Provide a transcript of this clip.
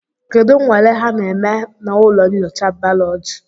Kedu nnwale ha na-eme na ụlọ nyocha baoloji?